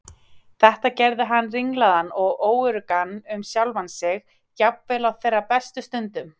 Þetta gerði hann ringlaðan og óöruggan um sjálfan sig, jafnvel á þeirra bestu stundum.